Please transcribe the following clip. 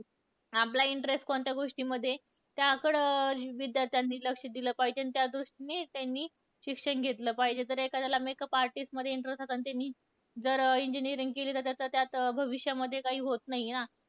आपला interest कोणत्या गोष्टीमध्ये आहे, त्याकडं विद्यार्थ्यांनी लक्ष दिलं पाहिजे, आणि त्या दृष्टीने त्यांनी शिक्षण घेतलं पाहिजे. जर एखाद्याला makeup artist मध्ये interest आसन आणि त्यानी जर engineering केली तर त्याचं त्यात भविष्यामध्ये काही होत नाही हां.